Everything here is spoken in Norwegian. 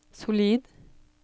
solid